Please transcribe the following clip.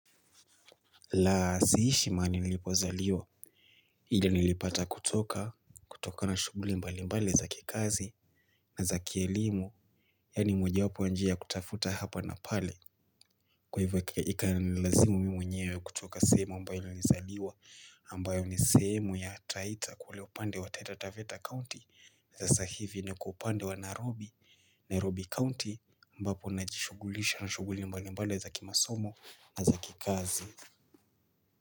Laa siishi mahali nilipozaliwa ila nilipata kutoka kutoka na shughuli mbali mbali za kikazi. Na za kielimu. Yaani moja wapo njia kutafuta hapa na pale. Kwa hivyo ikanilazimu mwenyewe kutoka sehemu ambayo nilizaliwa ambayo ni sehemu ya Taita kule upande wa Taita Taveta County sasa hivi niko upande wa Narobi Nairobi County ambapo najishugulisha na shuguli mbali mbali za kimasomo. Na za kikazi.